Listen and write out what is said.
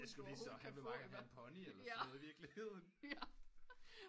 Det er sku lige så makkeren gerne vil have en pony eller sådan noget i virkeligheden